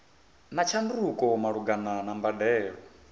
na tshanduko malugana na mbadelo